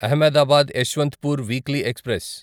Ahmedabad Yesvantpur weekly express